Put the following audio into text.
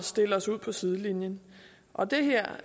stille os ud på sidelinjen og den her